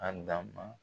A dan ma